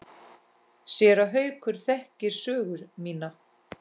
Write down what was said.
Séra Haukur þekkir sögu mína.